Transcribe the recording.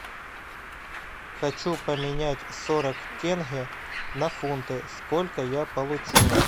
хочу поменять сорок тенге на фунты сколько я получу